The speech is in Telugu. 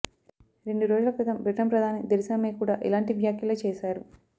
రెండు రోజుల క్రితం బ్రిటన్ ప్రధాని థెరిసా మే కూడా ఇలాంటి వ్యాఖ్యలే చేశారు